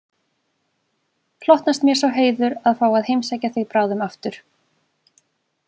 Hlotnast mér sá heiður að fá að heimsækja þig bráðum aftur